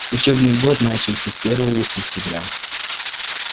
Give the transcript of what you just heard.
учебный год начался первого сентября